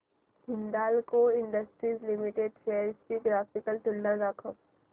Hindalco industries limited shares ची graphical तुलना दाखव